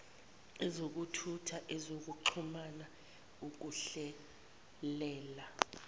ezokuthutha ezokuxhumana ukuhlelela